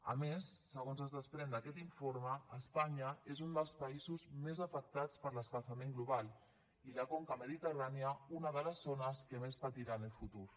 a més segons es desprèn d’aquest informe espanya és un dels països més afectats per l’escalfament global i la conca mediterrània una de les zones que més patirà en el futur